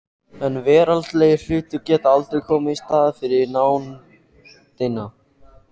En veraldlegir hlutir geta aldrei komið í staðinn fyrir nándina.